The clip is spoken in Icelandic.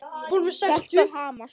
Hjartað hamast.